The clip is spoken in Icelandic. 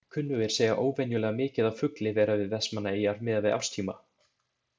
Kunnugir segja óvenjulega mikið af fugli vera við Vestmannaeyjar miðað við árstíma.